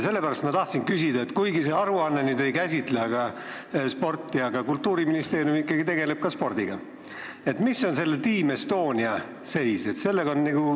Sellepärast tahan küsida, et kuigi see aruanne ei käsitle sporti, aga Kultuuriministeerium ikkagi tegeleb ka spordiga: milline on Team Estonia seis?